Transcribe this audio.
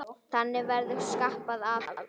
Þannig verður skapað aðhald.